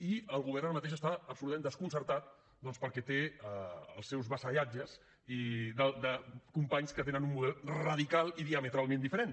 i el govern ara mateix està absolutament desconcertat doncs perquè té els seus vassallatges i de companys que tenen un model radicalment i diametralment diferent